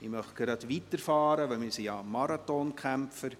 Wir fahren gleich weiter, wir sind schliesslich Marathonkämpfer.